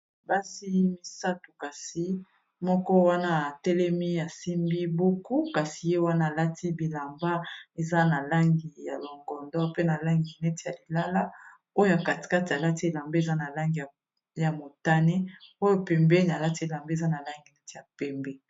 Basi misato kasi moko wana atelemi ya simbi buku kasi ye wana alati bilamba eza na langi ya longondo pe na langi neti ya lilala oyo katikati alati elamba eza na langi ya motane oyo pembeni alati elamba eza na langi neti ya pembe.